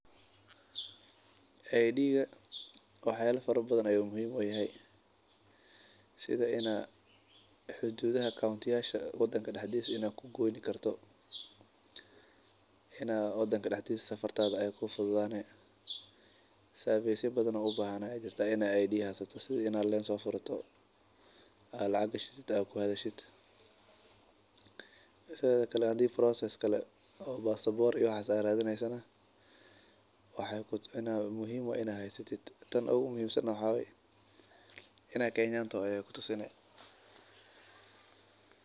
Idiiga waxyala fara badhan ayu muhiim u yahay sidha in aa xuduudhaha kauntisha wadanka daxdhisa in aa ku goyni karto, in aa wadanka daxdiisa safartadha ay kuu fudhudhane. Savesya badhan oo u bahan aya jirta in aa id haysato sidhii in aa leen so furato aa lacag gashato oo ku hadhashid, sidheda kale hadi process kale oo pasabor aad radineysana waa muhiin in aad haysatid. Taan oogu muhiim san waxa wayee in aa kenyan taho ayay ku tusini